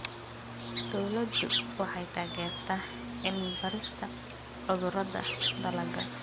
Dawladdu waxay taageertaa cilmi-baarista cudurrada dalagga.